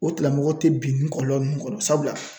O tigilamɔgɔ te bin ni kɔlɔlɔ nunnu kɔrɔ sabula